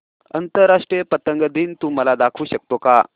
आंतरराष्ट्रीय पतंग दिन तू मला दाखवू शकतो का